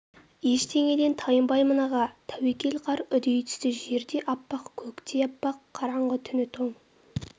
ештеңеден тайынбаймын аға тәуекел қар үдей түсті жер де аппақ көк те аппақ қараңғы түні тоң